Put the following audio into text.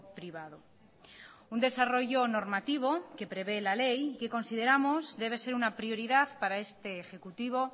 privado un desarrollo normativo que prevé la ley que consideramos debe ser una prioridad para este ejecutivo